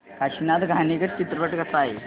काशीनाथ घाणेकर चित्रपट कसा आहे ते सांग